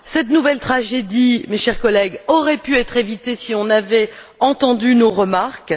Cette nouvelle tragédie, chers collègues, aurait pu être évitée si on avait entendu nos remarques.